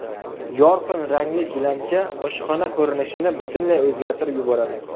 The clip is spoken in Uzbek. Yorqin rangli gilamcha oshxona ko‘rinishini butunlay o‘zgartirib yuboradi.